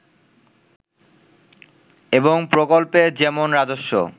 এবং প্রকল্পে যেমন রাজস্ব